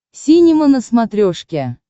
синема на смотрешке